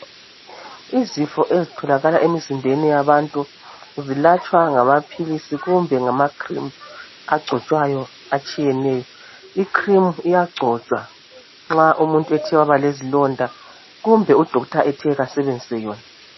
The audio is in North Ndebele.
Izifo ezitholakala emzimbeni yabantu zilatshwa ngamaphilisi kumbe ngama cream agcotshwayo atshiyeneyo. I cream iyagcotshwa nxa umuntu ethe waba lezilonda kumbe u doctor ethe kasebenzise yona.